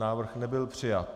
Návrh nebyl přijat.